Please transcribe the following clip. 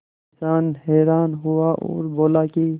किसान हैरान हुआ और बोला कि